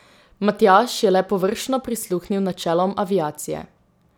Matjaž je le površno prisluhnil načelom aviacije.